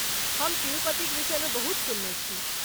हम तिरुपतिक विषयमे बहुत सुनने छी?